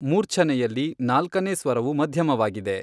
ಮೂರ್ಛನೆಯಲ್ಲಿ ನಾಲ್ಕನೇ ಸ್ವರವು ಮಧ್ಯಮವಾಗಿದೆ.